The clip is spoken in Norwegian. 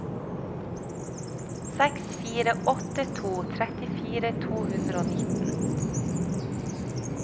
seks fire åtte to trettifire to hundre og nitten